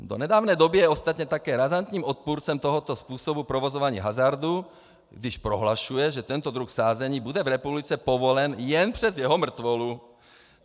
Do nedávné doby je ostatně také razantním odpůrcem tohoto způsobu provozování hazardu, když prohlašuje, že tento druh sázení bude v republice povolen jen přes jeho mrtvolu.